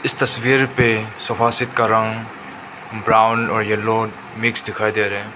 इस तस्वीर पे सोफा सेट का रंग ब्राउन और येलो मिक्स दिखाई दे रहे--